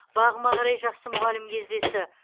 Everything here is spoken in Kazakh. бағыма қарай жақсы мұғалім кездесті